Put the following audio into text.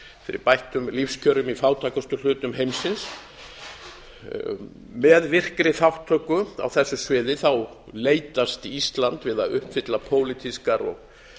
fyrir bættum lífskjörum í fátækustu hlutum heimsins með virkri þátttöku á þessu sviði leitast ísland við að uppfylla pólitískar og